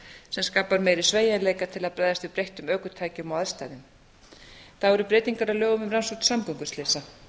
sem skapar meiri sveigjanleika til að bregðast við breyttum ökutækjum og aðstæðum þá eru breytingar á lögum um rannsókn samgönguslysa